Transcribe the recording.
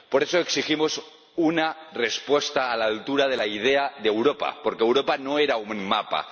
Por eso, exigimos una respuesta a la altura de la idea de Europa, porque Europa no era un mapa